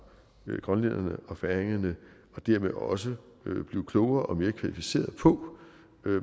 grønlænderne og færingerne og dermed også blive klogere og mere kvalificeret på